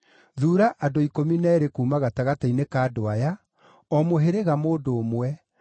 “Thuura andũ ikũmi na eerĩ kuuma gatagatĩ-inĩ ka andũ aya o mũhĩrĩga mũndũ ũmwe,